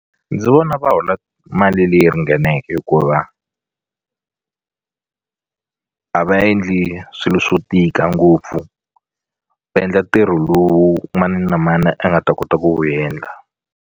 Ndzi vona va hola mali leyi ringaneke hikuva a va endli swilo swo tika ngopfu va endla ntirho lowu mani na mani a nga ta kota ku endla.